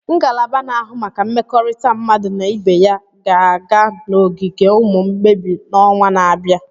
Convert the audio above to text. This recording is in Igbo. ngalaba na-ahụ maka mmekọrịta mmadụ na ibe aya ga-aga n'ogige ụmụ mgbei n'ọnwa na-abịa?